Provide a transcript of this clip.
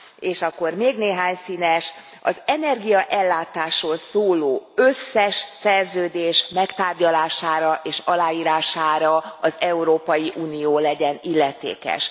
És akkor még néhány színes az energiaellátásról szóló összes szerződés megtárgyalására és aláírására az Európai Unió legyen illetékes.